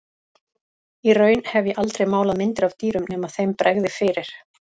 Og í raun hef ég aldrei málað myndir af dýrum nema þeim bregði fyrir.